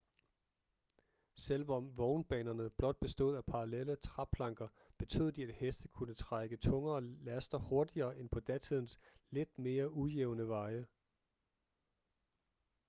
selvom vognbanerne blot bestod af parallelle træplanker betød de at heste kunne trække tungere laster hurtigere end på datidens lidt mere ujævne veje